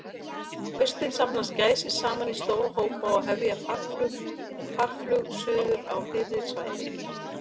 Á haustin safnast gæsir saman í stóra hópa og hefja farflug suður á hlýrri svæði.